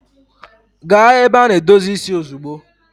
Gaa ebe a na-edozi isi ozugbo!